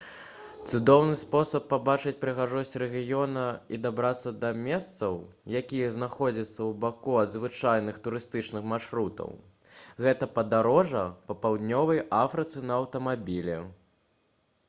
цудоўны спосаб пабачыць прыгажосць рэгіёна і дабрацца да месцаў якія знаходзяцца ўбаку ад звычайных турыстычных маршрутаў гэта падарожжа па паўднёвай афрыцы на аўтамабілі